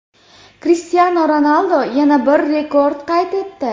Krishtianu Ronaldu yana bir rekord qayd etdi.